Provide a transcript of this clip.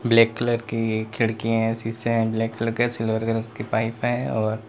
black colour की खिड़कीएं हैं शीशे हैं ब्लैक कलर का सिल्वर कलर की पाईप है और --